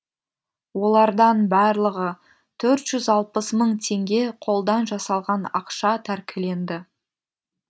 олардан барлығы төрт жүз алпыс мың теңге қолдан жасалған ақша тәркіленді